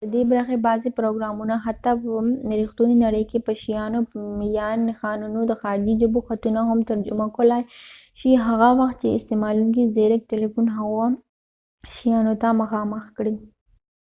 ددې برخې بعضې پروګرامونه حتي په رښتونې نړۍ کې په شیانو یا نښانونو د خارجې ژبو خطونه هم ترجمه کولای شي هغه وخت چې استعمالونکی زیرک تلیفون هغه شیانو ته مخامخ کړي